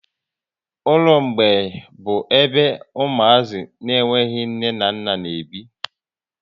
Ụlọ mgbei bụ ebe umuazi na enweghị nne na nna n'ebi